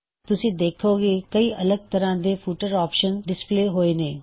ਤੁਸੀਂ ਦੇਖੋਂਗੇ ਕਈ ਅਲੱਗ ਤਰ੍ਹਾ ਦੇ ਫੁਟਰਸ ਆਪਸ਼ਨ ਡਿਸਪਲੇ ਹੋਏ ਨੇ